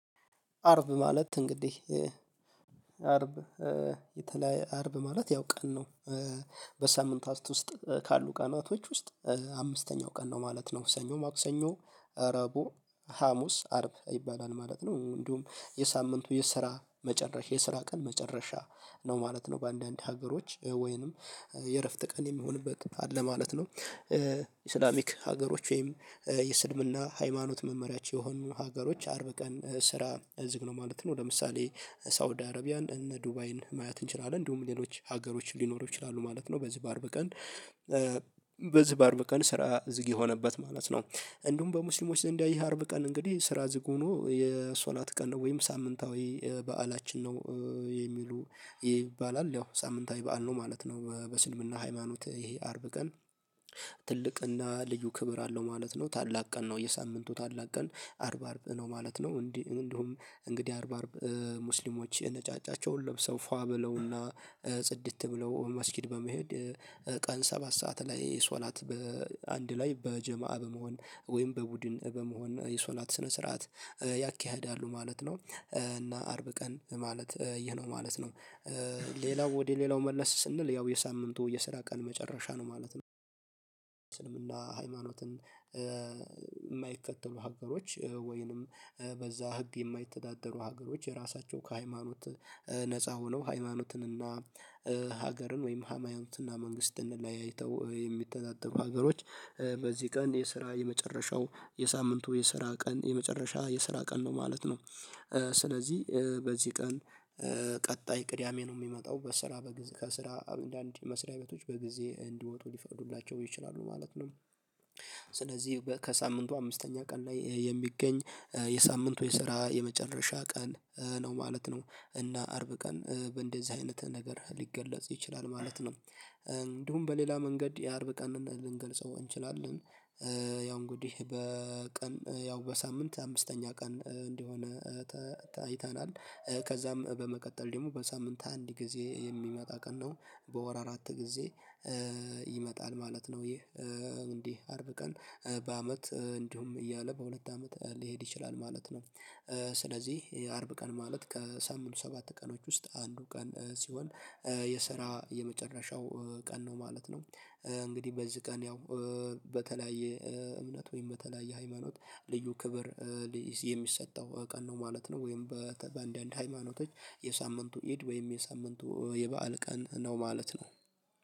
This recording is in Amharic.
አርብ ማለት እንግዲህ አርብ የተለ አርብ ማለት ያው ቀን ነው። በሳምንታት ውስጥ ካሉ ቀናቶች ውስጥ አምስተኛው ቀን ነው ማለት ነው ሰኞ ማክሰኞ ረቦ ሀሙስ አርብ ይባላል ማለት ነው እንዲሁም የሳምንቱ የስራ መጨረሻ የስራ ቀን መጨረሻ ነው ማለት ነው በአንዳንድ ሀገሮች ወይንም የእረፍት ቀን የሚሆንበት አለ ማለት ነው። እስላሚክ ሀገሮች ወይም የስልምና ሃይማኖት መመሪያቸው የሆኑ ሀገሮች አርብ ቀን ስራ እዝግ ነው ማለት ነው። ለምሳሌ ሳውዲ አረቢያን እነ ዱባይን ማየት እንችላለን እንዲሁም ሌሎች ሀገሮች ሊኖሩ ይችላሉ ማለት ነው በዚህ በአርብ ቀን በዚህ በአርብ ቀን ስራ ዝግ የሆነበት ማለት ነው። እንዲሁም በሙስሊሞች ዘንድ ይሄ አርብ ቀን እንግዲህ ስራ ዝግ ሆኖ የሶላት ቀን ነው ወይም ሳምንታዊ በዓላችን ነው የሚሉ ይባላል ያው ሳምንታዊ በዓል ነው ማለት ነው በስልምና ሃይማኖት ይሄ አርብ ቀን። ትልቅና ልዩ ክብር አለው ማለት ነው ታላቅ ቀን ነው የሳምንቱ ታላቅ ቀን አርብ አርብ ነው ማለት ነው እንዲህ እንዲሁም እንግዲህ አርብ አርብ ሙስሊሞች ነጫጫቸውን ለብሰው ፏ ብለውና ጽድት ብለው መስጊድ በመሄድ ቀን ሰባት ሰዓት ላይ የሶላት በአንድ ላይ በጀማአ በመሆን ወይም በቡድን በመሆን የሶላት ስነ ስርዓት ያካሂዳሉ ማለት ነው። እና አርብ ቀን ማለት ይሄ ነው ማለት ነው። ሌላው ወደ ሌላው መለስ ስንል ያው የሳምንቱ የስራ ቀን መጨረሻ ነው ማለት ነው። ስልምና ሃይማኖትን የማይከተሉ ሀገሮች ወይንም በዛ ህግ የማይተዳደሩ ሀገሮች የራሳቸው ከሃይማኖት ነፃ ሆነው ሃይማኖትን እና ሀገርን ወይም ሃማይማኖትን እና መንግስትን ለያይተው የሚተዳደሩ ሀገሮች በዚህ ቀን የስራ የመጨረሻው የሳምንቱ የስራ ቀን የመጨረሻ የስራ ቀን ነው ማለት ነው። ስለዚህ በዚህ ቀን ቀጣይ ቅዳሜ ነው የሚመጣው በስራ በጊዜ ከስራ አንዳንድ መስሪያ ቤቶች በጊዜ እንዲወጡ ሊፈዱላቸው ይችላሉ ማለት ነው። ስለዚህ ከሳምንቱ አምስተኛ ቀን ላይ የሚገኝ የሳምንቱ የስራ የመጨረሻ ቀን ነው ማለት ነው። እና አርብ ቀን በእንደዚህ አይነት ነገር ሊገለጽ ይችላል ማለት ነው እንዲሁም በሌላ መንገድ የአርብ ቀን ልንገልጸው እንችላለን። ያው እንግዲህ በቀን ያው በሳምንት አምስተኛ ቀን እንዲሆነ አይተናል ከዛም በመቀጠል ደግሞ በሳምንት አንድ ጊዜ የሚመጣ ቀን ነው በወር አራት ጊዜ ይመጣል ማለት ነው ይህ እንዲህ አርብ ቀን በአመት እንዲሁም እያለ በሁለት አመት ሊሄድ ይችላል ማለት ነው። ስለዚህ የአርብ ቀን ማለት ከሳምኑ ሰባት ቀኖች ውስጥ አንዱ ቀን ሲሆን የሰራ የመጨረሻው ቀን ነው ማለት ነው። እንግዲህ በዚህ ቀን ያው በተለያየ እምነት ወይም በተለያየ ሃይማኖት ልዩ ክብር የሚሰጠው ቀን ነው ማለት ነው ወይም በአንዳንድ ሃይማኖቶች የሳምንቱ ኢድ ወይም የሳምንቱ የበአል ቀን ነው ማለት ነው።